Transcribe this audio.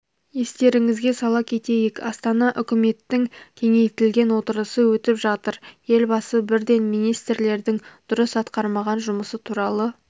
естеріңізге сала кетейік астана үкіметтің кеңейтілген отырысы өтіп жатыр елбасы бірден министрлердің дұрыс атқармаған жұмысы туралы